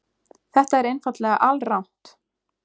Þetta er einfaldlega alrangt.